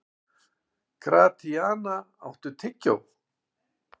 Gratíana, áttu tyggjó?